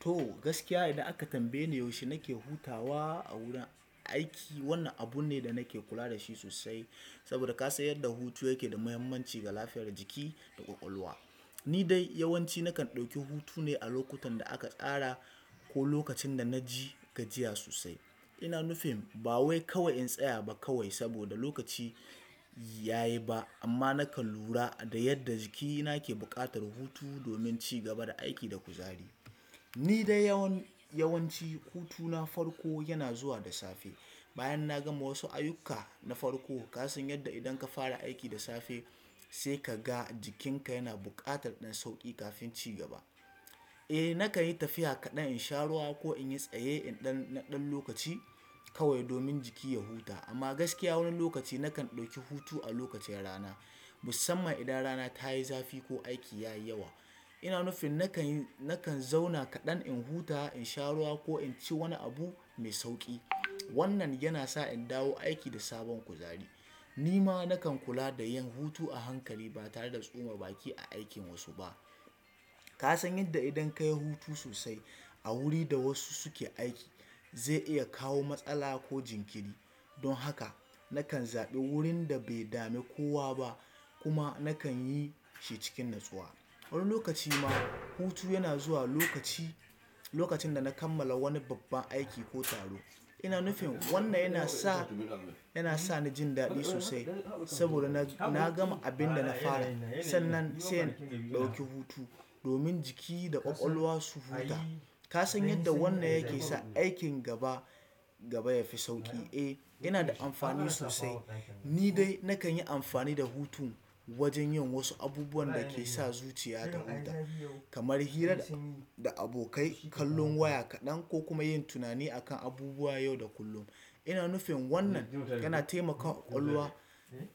To gaskiya idan aka tambaye ni yaushe nake hutawa a wurin aiki, wannan abu ne da nake kula da shi sosai. Saboda ka san yadda hutu yake da muhimmanci ga lafiyar jiki da ƙwaƙwalwa. Ni dai yawanci nakan ɗauki hutu ne a lokutan da aka tsara ko lokacin da na ji gajiya sosai. Ina nufin ba wai kawai in tsaya ba kawai saboda lokaci ya yi ba amma nakan lura da yadda jikina ke buƙatar hutu domin cigaba da aiki da kuzari. Ni dai yawanci hutuna farko yana zuwa da safe. Bayan na gama wasu ayuka na farko, ka san yadda idan ka fara aiki da safe sai ka ga jikinka yana buƙatar ɗan sauƙi kafin cigaba. Eh nakan yi tafiya kaɗan in sha ruwa ko in yi tsaye in ɗan na ɗan lokaci kawai domin jiki ya huta. Amma gaskiya wani lokaci nakan ɗauki hutu a lokacin rana, musamman idan rana ta yi zafi ko aiki ya yi yawa. Ina nufin nakan nakan zauna kaɗan in huta, in sha ruwa ko in ci wani abu mai sauƙi. Wannan yana sa in dawo aiki da sabon kuzari. Nima nakan kula da yin hutu a hankali ba tare da tsoma baki a aikin wasu ba. Ka san yadda idan ka yi hutu sosai a wuri da wasu suke aiki zai iya kawo matsala ko jinkiri. Don haka nakan zaɓi wurin da bai dame kowa ba kuma nakan yi shi cikin natsuwa. Wani lokaci ma hutu yana zuwa lokaci lokacin da na kammala wani babban aiki ko taro. Ina nufin wannan yana sa yana sa ni jin daɗi sosai saboda na gama abin da na fara sannan sai in ɗauki hutu domin jiki da ƙwaƙwalwa su huta. Ka san yadda wannan yake sa aikin gaba gaba yafi sauƙi. Eh yana da amfani sosai. Ni dai nakan yi amfani da hutun wajen yin wasu abubuwan da ke sa zuciya ta huta kamar hira da abokai, kallon waya kaɗan ko kuma yin tunani akan abubuwa yau da kullum. Ina nufin wannan yana taimaka wa ƙwaƙwalwa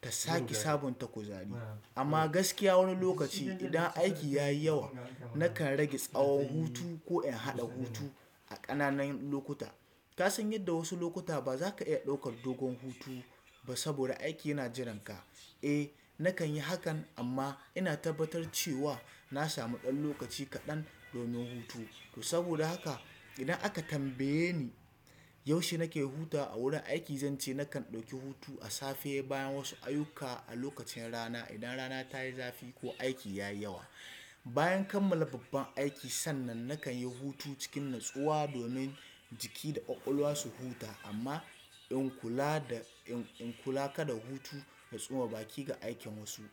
ta sake sabunta kuzari. Amma gaskiya wani lokaci idan aiki ya yi yawa nakan rage tsawon hutu ko in haɗa hutu a ƙananan lokuta. Ka san yadda wasu lokuta ba za ka iya ɗaukar dogon hutu ba saboda aiki yana jiranka. Eh nakan yi hakan amma ina tabbatar cewa na sami ɗan lokaci kaɗan domin hutu. To saboda haka idan aka tambaye ni yaushe nake hutawa a wurin aiki, zance nakan ɗauki hutu a safe bayan wasu ayyuka, a lokacin rana idan rana ta yi zafi ko aiki ya yi yawa. Bayan kammala babban aiki sannan nakan yi hutu cikin natsuwa domin jiki da ƙwaƙwalwa su huta amma in kula da in in kula kada hutu ya tsoma baki ga aikin wasu.